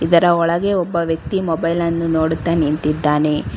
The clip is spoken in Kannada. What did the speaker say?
ಒಳಗೆ ಒಬ್ಬ ವ್ಯಕ್ತಿ ಮೊಬೈಲ್ ಅನ್ನು ನೋಡುತ್ತಾ ನಿಂತಿದ್ದಾನೆ.